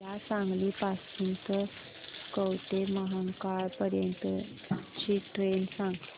मला सांगली पासून तर कवठेमहांकाळ पर्यंत ची ट्रेन सांगा